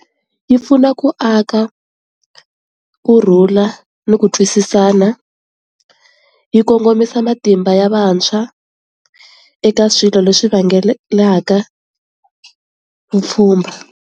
Yi pfuna ku aka kurhula ni ku twisisana, yi kongomisa matimba ya vantshwa eka swilo leswi vangelelaka vupfhumba.